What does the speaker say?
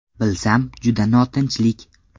Bilsam, juda notinchlik.